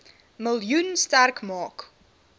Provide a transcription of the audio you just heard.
miljoen sterk maak